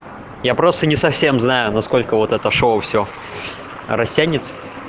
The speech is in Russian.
я просто не совсем знаю насколько вот это шоу все растянется